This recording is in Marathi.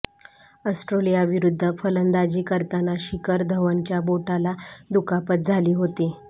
ऑस्ट्रेलियाविरुद्ध फलंदाजी करताना शिखर धवनच्या बोटाला दुखापत झाली होती